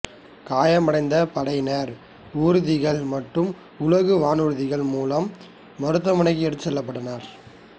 காயமடைந்த படையினர் ஊர்திகள் மற்றும் உலங்குவானூர்திகள் மூலம் மருத்துவமனைக்கு எடுத்துச் செல்லப்பட்டனர்